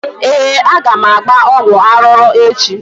Ee, aga m agba ọgwụ arụrụ echi.